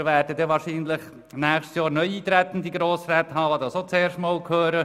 Wir werden wahrscheinlich nächstes Jahr neu eintretende Grossräte haben, die das auch zum ersten Mal hören.